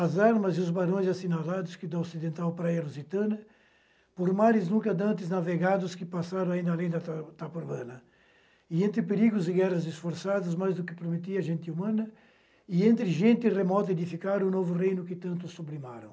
As armas e os barões assinalados que do ocidental para a erositana, por mares nunca antes navegados que passaram ainda além da tapa tapobrana, e entre perigos e guerras esforçadas mais do que prometia a gente humana, e entre gente remota edificar o novo reino que tanto sublimaram.